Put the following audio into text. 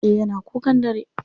Eh yana kukan dare.